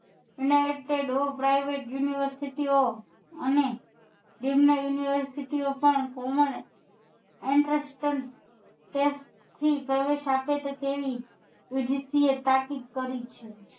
Unitedprivet university ઓ અને નિમ્ન university ઓ પણ પ્રવેશ આપે છે તેવી યુંધિસથી ઓ સ્થાપિત કરી જ છે